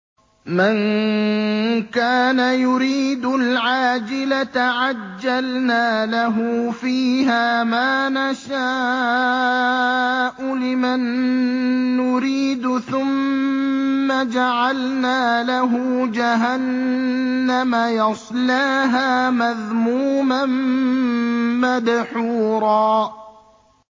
مَّن كَانَ يُرِيدُ الْعَاجِلَةَ عَجَّلْنَا لَهُ فِيهَا مَا نَشَاءُ لِمَن نُّرِيدُ ثُمَّ جَعَلْنَا لَهُ جَهَنَّمَ يَصْلَاهَا مَذْمُومًا مَّدْحُورًا